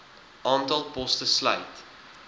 aantal poste sluit